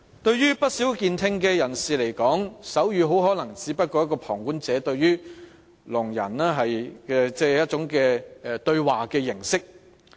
對不少旁觀的健聽人士而言，手語可能只是聾人的一種對話形式。